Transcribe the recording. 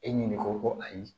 E ɲininka ko ayi